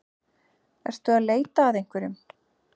Ertu að leita að einhverjum?